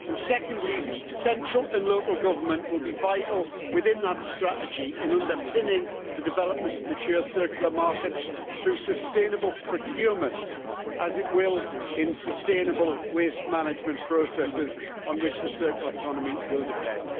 Secondly, central and local government will be vital, within that strategy, in underpinning the development of mature circular markets through sustainable procurement, as it will in sustainable waste management processes on which the circular economy will depend.